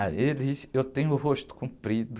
Ah, eles, eu tenho o rosto comprido.